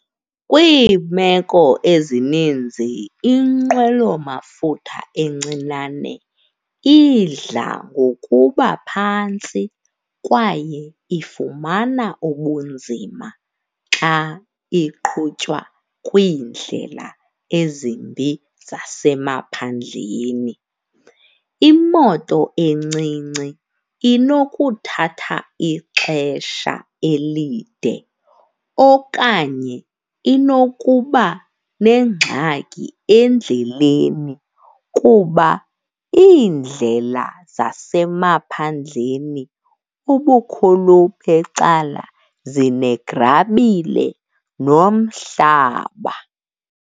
Kwiimeko ezininzi inqwelomafutha encinane idla ngokuba phantsi kwaye ifumana ubunzima xa iqhutywa kwiindlela ezimbi zasemaphandleni. Imoto encinci inokuthatha ixesha elide okanye inokuba nengxaki endleleni kuba iindlela zasemaphandleni ubukhulu becala zinegrabile nomhlaba.